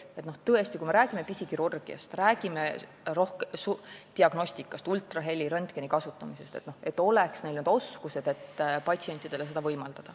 Me räägime sellest, et pisikirurgias, diagnostikas, ultraheli ja röntgeni kasutamisel oleks neil need oskused.